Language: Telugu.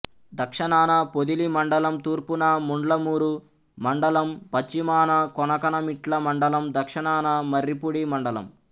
దక్షణాన పొదిలి మండలం తూర్పున ముండ్లమూరు మండలం పశ్చిమాన కొనకనమిట్ల మండలం దక్షణాన మర్రిపూడి మండలం